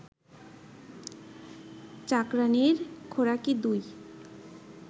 চাকরাণীর খোরাকী ২